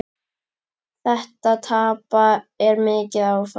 Þetta tap er mikið áfall.